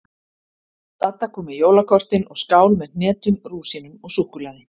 Dadda kom með jólakortin og skál með hnetum, rúsínum og súkkulaði.